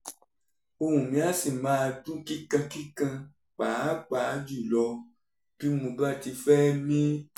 ohùn mi á sì máa dún kíkankíkan pàápàá jùlọ bí mo bá ti fẹ́ mí